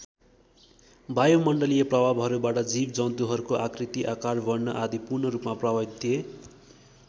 वायुमण्डलीय प्रभावहरूबाट जीव जन्तुहरूको आकृति आकार वर्ण आदि पूर्ण रूपमा प्रभावित थिए।